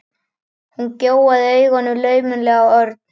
Hún gjóaði augunum laumulega á Örn.